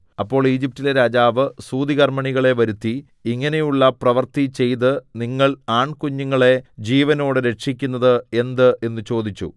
അപ്പോൾ ഈജിപ്റ്റിലെ രാജാവ് സൂതികർമ്മിണികളെ വരുത്തി ഇങ്ങനെയുള്ള പ്രവൃത്തിചെയ്ത് നിങ്ങൾ ആൺകുഞ്ഞുങ്ങളെ ജീവനോടെ രക്ഷിക്കുന്നത് എന്ത് എന്നു ചോദിച്ചു